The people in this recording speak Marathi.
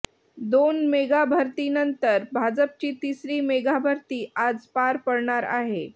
दोन मेगाभरतीनंतर भाजपची तिसरी मेगाभरती आज पार पडणार आहे